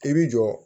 I bi jɔ